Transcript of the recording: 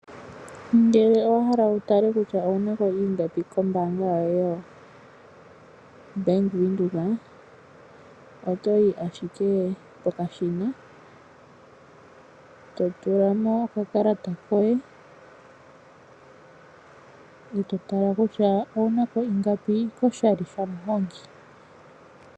Ngele owa hala wu tale kutya owu nako ingapi kombanga yoye Bank Windhoek oto yi ashike pokashina to tula mo okakalata koye eto tala kutya owu nako ingapi koshali sha muhongi.